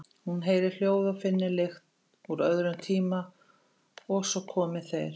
Hún heyri hljóð og finni lykt úr öðrum tíma og svo komi þeir.